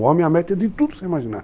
O homem é a meta de tudo que você imaginar.